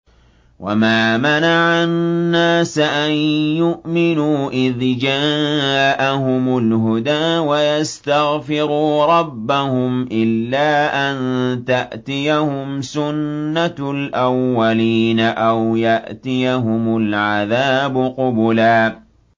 وَمَا مَنَعَ النَّاسَ أَن يُؤْمِنُوا إِذْ جَاءَهُمُ الْهُدَىٰ وَيَسْتَغْفِرُوا رَبَّهُمْ إِلَّا أَن تَأْتِيَهُمْ سُنَّةُ الْأَوَّلِينَ أَوْ يَأْتِيَهُمُ الْعَذَابُ قُبُلًا